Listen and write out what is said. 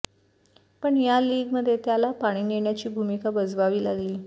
पण या लीगमध्ये त्याला पाणी नेण्याची भुमिका बजवावी लागली